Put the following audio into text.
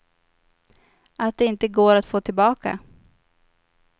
Att det inte går att få tillbaka.